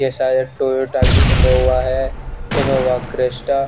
जेसे ये टोयटा की इनोवा है इनोवा क्रेस्टा --